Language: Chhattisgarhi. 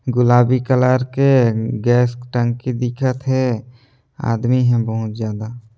गुलाबी कलर के गैस टंकी दिखत हे आदमी हे बहुत ज्यादा।